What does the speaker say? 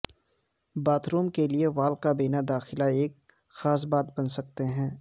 bath room کے لئے wall کابینہ داخلہ کی ایک خاص بات بن سکتے ہیں